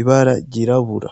ibara ry'irabura.